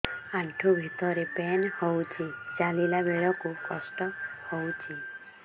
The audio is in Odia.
ଆଣ୍ଠୁ ଭିତରେ ପେନ୍ ହଉଚି ଚାଲିଲା ବେଳକୁ କଷ୍ଟ ହଉଚି